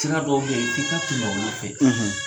Sira dɔw bɛ yi f'i ka tɛmɛ olu fɛ.